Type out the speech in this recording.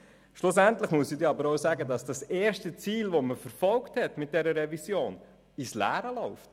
Schlussendlich ist zu sagen, dass das erste mit dieser Revision verfolgte Ziel ins Leere läuft.